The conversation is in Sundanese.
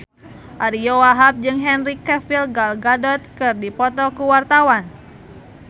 Ariyo Wahab jeung Henry Cavill Gal Gadot keur dipoto ku wartawan